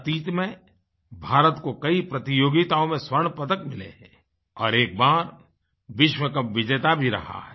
अतीत में भारत को कई प्रतियोगिताओं में स्वर्ण पदक मिले हैं और एक बार विश्व कप विजेता भी रहा है